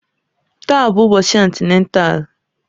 Taa bụ ụbọchị antịnátál